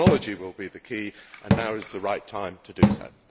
Technology will be the key and now is the right time to do this.